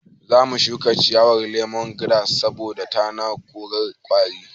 Zamu shuka ciyawar lemon giras saboda tana korar ƙwari